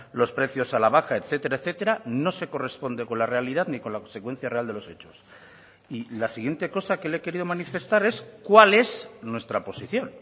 los precios a la baja etcétera etcétera no se corresponde con la realidad ni con la consecuencia real de los hechos y la siguiente cosa que le he querido manifestar es cuál es nuestra posición